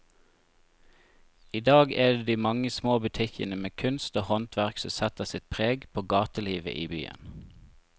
I dag er det de mange små butikkene med kunst og håndverk som setter sitt preg på gatelivet i byen.